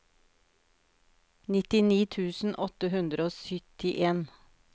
nittini tusen åtte hundre og syttien